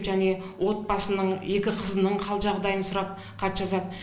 және отбасының екі қызының қал жағдайын сұрап хат жазады